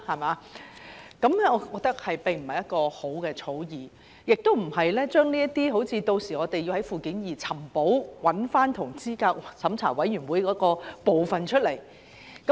我覺得這並非一項好的草擬條文，我們屆時可能需要在附件二"尋寶"，找出有關資審會的部分。